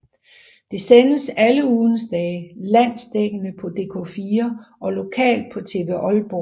Det sendes alle ugens dage landsdækkende på dk4 og lokalt på TV Aalborg